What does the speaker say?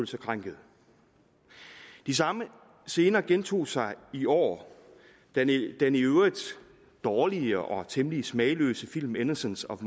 sig krænkede de samme scener gentog sig i år da den i øvrigt dårlige og temmelig smagløse film innocense of